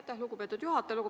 Aitäh, lugupeetud juhataja!